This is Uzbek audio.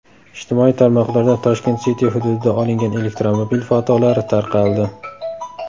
Ijtimoiy tarmoqlarda Tashkent City hududida olingan elektromobil fotolari tarqaldi.